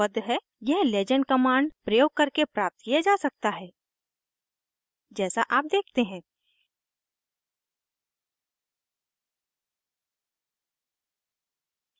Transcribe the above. यह legend legend command प्रयोग करके प्राप्त किया जा सकता है जैसा आप देखते हैं